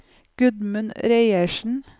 Gudmund Reiersen